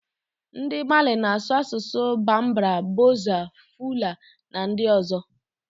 Ndị Mali na-asụ asụsụ Bambara, Bozo, Fula, na ndị ọzọ.